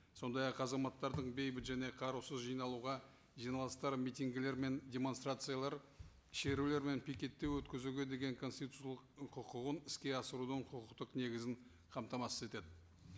сондай ақ азаматтардың бейбіт және қарусыз жиналуға жиналыстар митингілер мен демонстрациялар шерулер мен пикеттеу өткізуге деген конституциялық құқығын іске асырудың құқықтық негізін қамтамасыз етеді